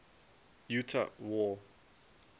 utah war